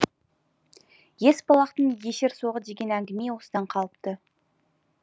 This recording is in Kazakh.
есбалақтың есерсоғы деген әңгіме осыдан қалыпты